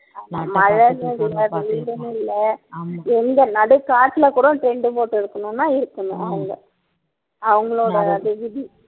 ஆமா மழைன்னு இல்ல வெயில்ன்னு இல்ல எங்க நடு காட்டுல கூட tent போட்டு இருக்கணும்ன்னா இருக்கணும் அவங்க அவங்களோட அது விதி